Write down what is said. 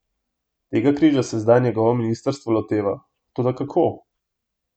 Tega križa se zdaj njegovo ministrstvo loteva, toda kako?